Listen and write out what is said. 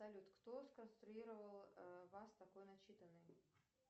салют кто сконструировал вас такой начитанной